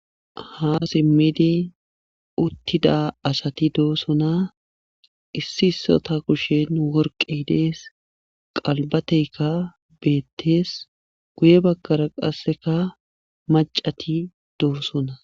Ha simidi uttida asati dosona issi issota kushen worqqay dees. qalbateekka beetees. guye bagara qasse macati dosona.